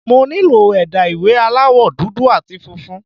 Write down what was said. Mo nílò ẹ̀dà ìwé aláwọ̀ dúdú àti funfun.